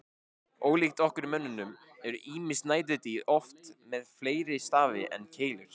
Ólíkt okkur mönnunum eru ýmis næturdýr oft með fleiri stafi en keilur.